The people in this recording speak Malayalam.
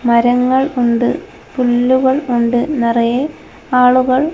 മരങ്ങൾ ഉണ്ട് പുല്ലുകൾ ഉണ്ട് നിറയെ ആളുകൾ--